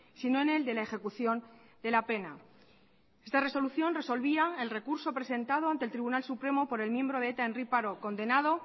sino en el de la ejecución de la pena esta resolución resolvía el recurso presentado ante el tribunal supremo por el miembro de eta henri parot condenado